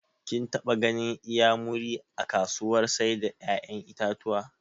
Kin taɓa ganin inyamuri a kasuwar sai da ƴaƴan itatuwa?